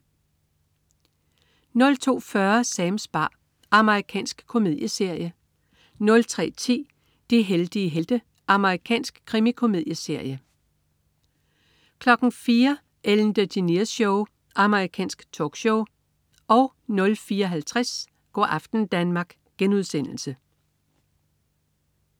02.40 Sams bar. Amerikansk komedieserie 03.10 De heldige helte. Amerikansk krimikomedieserie 04.00 Ellen DeGeneres Show. Amerikansk talkshow 04.50 Go' aften Danmark*